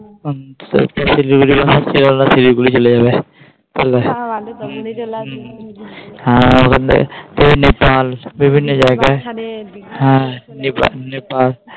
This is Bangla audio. শিলিগুড়ি শিয়ালদা শিলিগুড়ি চলে যাবে তালে হ্যাঁ ওই নেপাল বিভিন্ন জায়গা চলে যাবে তালে